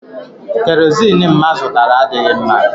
Kerozini mma zụtara adịghị mma.